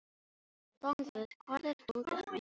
Rongvuð, hvar er dótið mitt?